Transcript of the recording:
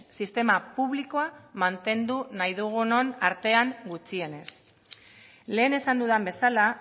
sistema publikoa mantendu nahi dugunon artean gutxienez lehen esan dudan bezala